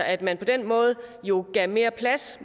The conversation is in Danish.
at man på den måde jo gav mere plads